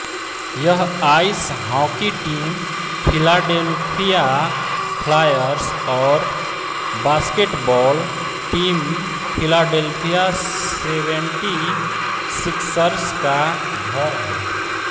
यह ice hockey team Philadelphia Flyers और basketball team Philadelphia Seventy Sixers का घर है